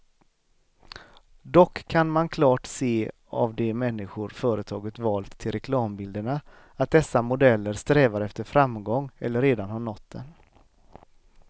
Dock kan man klart se av de människor företaget valt till reklambilderna, att dessa modeller strävar efter framgång eller redan har nått den.